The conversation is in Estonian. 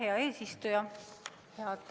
Hea eesistuja!